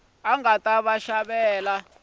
nga ta va xi ri